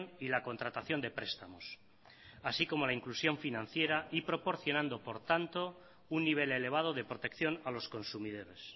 y la contratación de prestamos así como la inclusión financiera y proporcionando por tanto un nivel elevado de protección a los consumidores